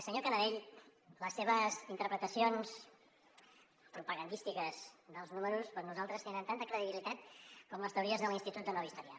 senyor canadell les seves interpretacions propagandístiques dels números per nosaltres tenen tanta credibilitat com les teories de l’institut nova història